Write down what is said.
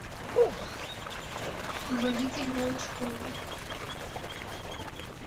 водитель волочковой